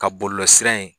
Ka bɔlɔlɔsira ye